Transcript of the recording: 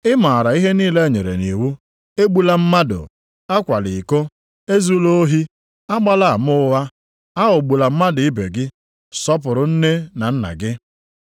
Ị maara ihe niile enyere nʼiwu: ‘Egbula mmadụ, a kwala iko, e zula ohi, a gbala ama ụgha, a ghọgbula mmadụ ibe gị, sọpụrụ nne na nna gị.’ + 10:19 \+xt Ọpụ 20:12-16; Dit 5:16-20\+xt* ”